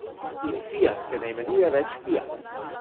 In Fiat se ne imenuje več Fiat.